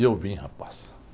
E eu vim, rapaz.